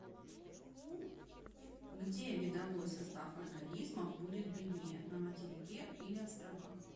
где видовой состав организмов будет беднее на материке или островах